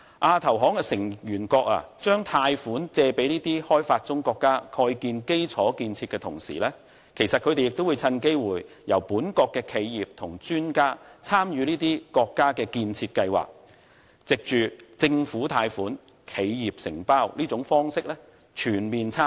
亞投行成員國把貸款借給發展中國家蓋建基礎設施的同時，他們亦會趁機會由本國企業和專家參與這些國家的建設計劃，藉着政府貸款、企業承包的方式全面參與。